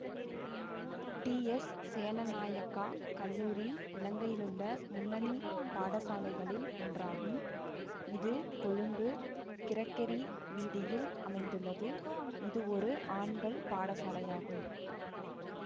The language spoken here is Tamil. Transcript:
டிஎஸ் சேனநாயக்கா கல்லூரி இலங்கையிலுள்ள முன்னணி பாடசாலைகளில் ஒன்றாகும் இது கொழும்பு கிரெக்கெரி வீதியில் அமைந்துள்ளது இதுவொரு ஆண்கள் பாடசாலையாகும்